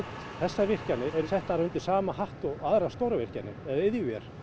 þessar virkjanir eru settar undir saman hatt og stórar virkjanir eða iðjuver